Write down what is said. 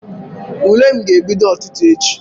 Ule m ga-ebido ụtụtụ echi.